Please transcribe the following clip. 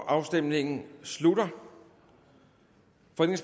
afstemningen slutter